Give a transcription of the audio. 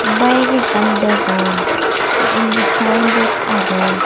bayek ekkan degong te undi sayenbod agey.